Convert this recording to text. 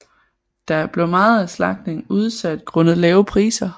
Da blev meget af slagtningen udsat grundet lave priser